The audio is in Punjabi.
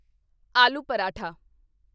ਆਲੂ ਪਰਾਠਾ